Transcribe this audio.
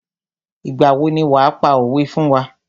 Ìgbà wo ni wàá pa òwé fún wá.